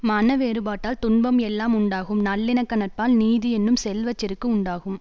மன வேறுபாட்டால் துன்பம் எல்லாம் உண்டாகும் நல்லிணக்க நட்பால் நீதி என்னும் செல்வ செருக்கு உண்டாகும்